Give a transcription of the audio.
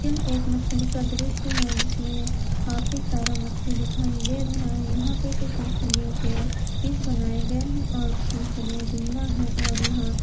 एक मछली का दृश्य है जिसमें काफी सारा मछली दिखाई दे रहा है यहां पर कुछ मछलियों के पीस बनाए गए हैं और कुछ मछलिया जिंदा है और यहां--